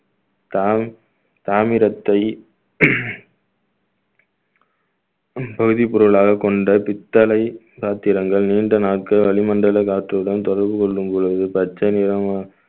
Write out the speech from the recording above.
காய்~ காகிதத்தை வேதிப் பொருளாகக் கொண்ட பித்தளை பாத்திரங்கள் நீண்ட நாட்கள் வளிமண்டல காற்றுடன் தொடர்பு கொள்ளும் பொழுது பச்சை நிற